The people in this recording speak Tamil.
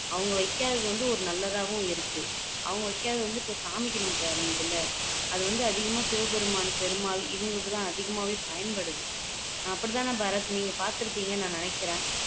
அவங்க வைக்காத்தௌ வந்து ஒரு நல்லதாவும் இருக்கு அவங்க வைக்காதது இப்போ சாமிக்கு நமக்கு அமையுதுல்ல அது வந்து அதிகமா சிவபெருமான் பெருமாள் இவங்களுக்கெல்லாம் அதிகமா பயன்படுது அப்படிதானே பாரத் நீங்க பாத்துருப்பீங்கனு நினைக்குறேன்